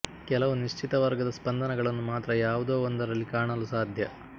ಕೆಲವು ನಿಶ್ಚಿತವರ್ಗದ ಸ್ಪಂದನಗಳನ್ನು ಮಾತ್ರ ಯಾವುದೋ ಒಂದರಲ್ಲಿ ಕಾಣಲು ಸಾಧ್ಯ